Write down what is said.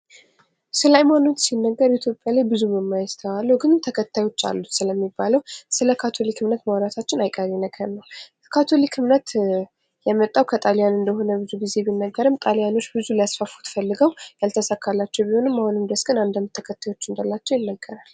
ስለ ሃይማኖት ሲነገር ኢትዮጵያ ላይ ብዙ የማይስተዋሉ ግን ተከታዮች አሉት ስለሚባለው ስለ ካቶሊክ እምነት ማውራታችን አይቀሬ ነገር ነው:: የካቶሊክ እምነት የመጣው ከካቶሊክ እንደመጣ ቢነገርም ጣልያኖች ብዙ ሊያስፋፉ ሞክረው ያልተሳካላቸው ቢሆንም አሁንም ድረስ ግን አንዳንድ ተከታዮች እንዳላቸው ይነገራል::